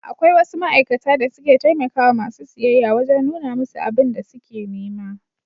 Akwai wasu ma'aikata da suke taimakawa masu siyayya wajen nuna musu abun da suke nema.